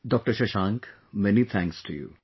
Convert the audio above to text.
Dr Shashank, many thanks to you